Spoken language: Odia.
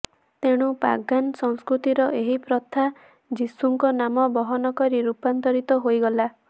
ତେଣୁ ପାଗାନ୍ ସଂସ୍କୃତିର ଏହି ପ୍ରଥା ଯୀଶୁଙ୍କ ନାମ ବହନ କରି ରୂପାନ୍ତରିତ ହୋଇଗଲା